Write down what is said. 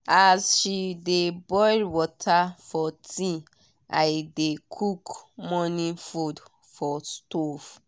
as she dey boil water for tea i dey cook morning food for stove.